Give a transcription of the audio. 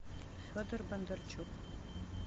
федор бондарчук